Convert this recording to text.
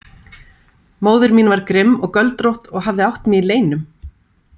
Móðir mín var grimm og göldrótt og hafði átt mig í leynum.